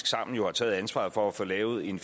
sammen har taget ansvaret for at få lavet en